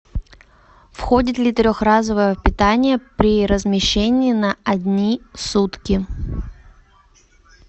входит ли трехразовое питание при размещении на одни сутки